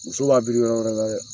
Muso b'a biri yɔrɔ wɛrɛ wɛrɛ